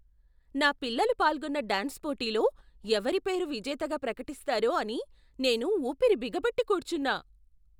నా పిల్లలు పాల్గొన్న డాన్స్ పోటీలో ఎవరి పేరు విజేతగా ప్రకటిస్తారో అని నేను ఊపిరి బిగపట్టి కూర్చున్నా.